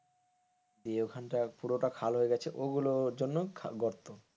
দিয়ে ওখানটা পুরোটা খাল হয়ে গেছে, ওগুলোর জন্য গর্ত।